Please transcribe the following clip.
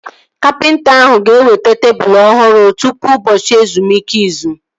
Kapịnta ahụ ga-eweta tebụl ọhụrụ ahụ tụpụ ụbọchị ezumike izu